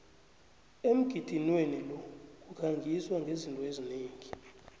emgidinweni lo kukhangiswa ngezinto eziningi